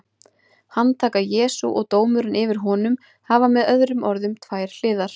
Handtaka Jesú og dómurinn yfir honum hafa með öðrum orðum tvær hliðar.